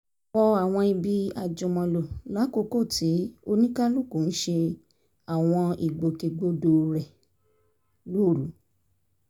wọ àwọn ibi àjùmọ̀lò lákòókò tí oníkálukú ń ṣe àwọn ìgbòkègbodò rẹ̀ lóru